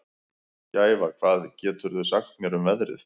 Gæfa, hvað geturðu sagt mér um veðrið?